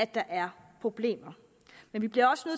der er problemer men vi bliver også